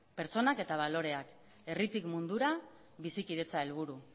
pertsonak eta baloreak herritik mundura bizikidetza helburu